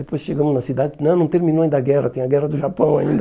Depois chegamos na cidade, não, não terminou ainda a guerra, tem a guerra do Japão ainda.